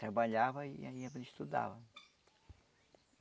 Trabalhava e ia para estudar.